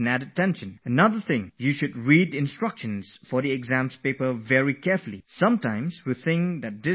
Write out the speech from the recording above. One more thing With the limited time that we have, we feel that going through the question paper with all the instructions is going to consume a lot of our time